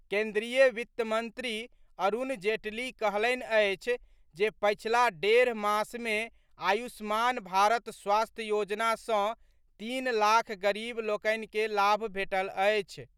केंद्रीय वित्त मंत्री अरूण जेटली कहलनि अछि जे पछिला डेढ़ मास मे आयुष्मान भारत स्वास्थ्य योजना सँ तीन लाख गरीब लोकनि के लाभ भेटल अछि।